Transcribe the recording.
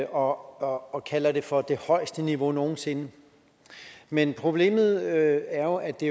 og og kalder det for det højeste niveau nogen sinde men problemet er jo at det